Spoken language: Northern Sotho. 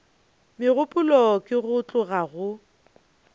megopolo ke go tloga go